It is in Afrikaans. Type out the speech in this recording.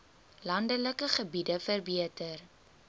landelike gebiede verbeter